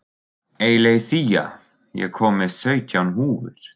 Eileiþía, ég kom með sautján húfur!